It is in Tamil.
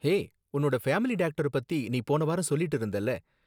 ஹே, உன்னோட ஃபேமிலி டாக்டர பத்தி நீ போன வாரம் சொல்லிட்டு இருந்தல?